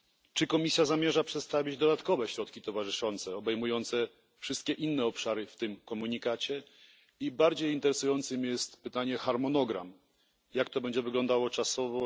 Czy Komisja zamierza przedstawić dodatkowe środki towarzyszące obejmujące wszystkie pozostałe obszary w tym komunikacie? Zadam też bardziej interesujące pytanie o harmonogram jak będzie to wyglądało czasowo?